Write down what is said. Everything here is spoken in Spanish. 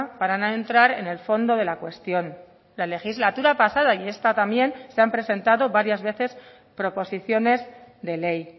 para no entrar en el fondo de la cuestión la legislatura pasada y esta también se han presentado varias veces proposiciones de ley